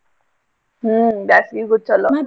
ಹ್ಮ್ ಬ್ಯಾಸ್ಗೀಗು ಚಲೋ .